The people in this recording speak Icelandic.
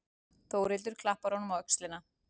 Þórhildur klappar honum á öxlina.